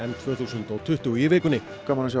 tvö þúsund og tuttugu í vikunni gaman að sjá